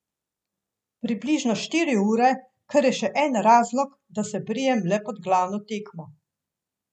Približno štiri ure, kar je še en razlog, da se brijem le pred glavno tekmo.